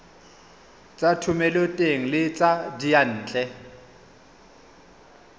tsa thomeloteng le tsa diyantle